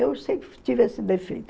Eu sempre tive esse defeito.